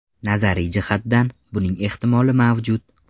Nazariy jihatdan, buning ehtimoli mavjud.